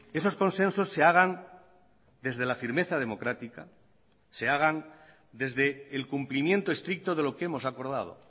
esos consensos se hagan desde la firmeza democrática se hagan desde el cumplimiento estricto de lo que hemos acordado